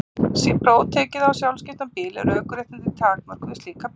Sé próf tekið á sjálfskiptan bíl eru ökuréttindin takmörkuð við slíka bíla.